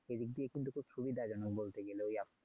এ দিক দিয়ে কিন্তু খুব সুবিধাজনক বলতে গেলে ওই app